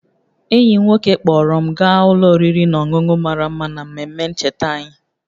Enyi m nwoke kpọọrọ m gaa ụlọ oriri na ọṅụṅụ mara mma n'ememe ncheta anyị